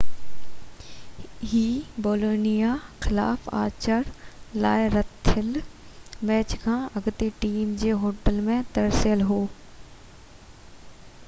هِي Bologna خلاف آچر لاءِ رٿيل ميچ کان اڳتي ٽيم جي هوٽل ۾ ترسيل هو